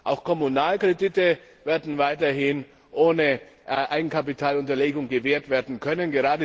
Auch Kommunalkredite werden weiterhin ohne Eigenkapitalunterlegung gewährt werden können.